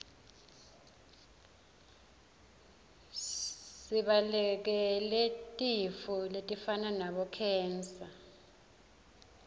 sibalekele tifo letifana nabo khensa